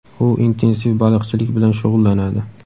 U intensiv baliqchilik bilan shug‘ullanadi.